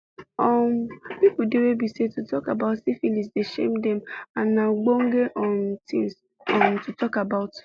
um people dey were be say to talk about syphilis the shame them and na ogbonge um things um to talk about